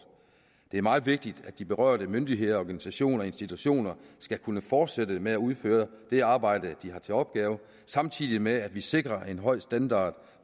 det er meget vigtigt at de berørte myndigheder organisationer og institutioner skal kunne fortsætte med at udføre det arbejde de har til opgave samtidig med at vi sikrer en høj standard